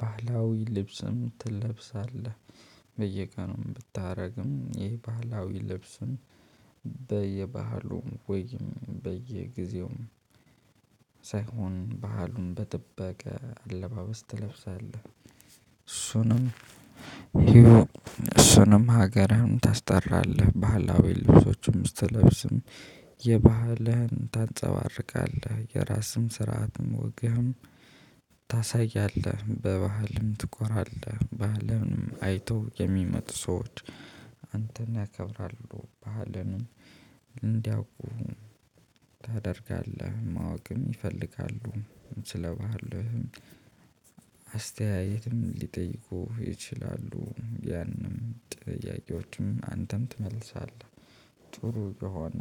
ባህላዊ ልብስም ትለብሳለህ? በየቀኑም ብታደርግም ይህ ባህላዊ ልብሱን በየባህሉም ወይም በየጊዜውም ሳይሆን ባህሉን በጥበቃ አለባበስ ትለብሳለህ። እሱንም ሂዎ ሀገርህን ታስጠራለህ ባህላዊ ልብሶችንም ስትለብስም የባህልህን ታንጸባርቃለህ። የራስህን ስርዓትም ወግህም ታሳያለህ። በባህልም ትኮራለህ በአለም አይቶ የሚመጡ ሰዎች አንተን ያከብራሉ። ባህልንም እንዲያውቁ ታደርጋለህ። ማወቅም ይፈልጋሉ። ስለባህል አስተያየትም ሊጠይቁህ ይችላሉ። ያንም ጥያቄዎችም አንተም ትመልሳለህ። ጥሩ ከሆነ